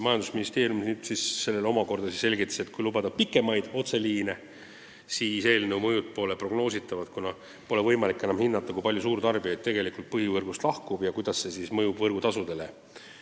Majandusministeeriumi esindaja selgitas, et kui lubada pikemaid otseliine, siis pole eelnõu mõju prognoositav – pole enam võimalik hinnata, kui palju suurtarbijaid põhivõrgust lahkub ja kuidas see mõjub võrgutasudele.